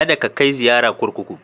Kada ka kai ziyara kurkuku.